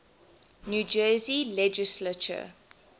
new jersey legislature